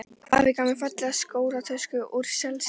Afi gaf mér fallega skólatösku úr selskinni.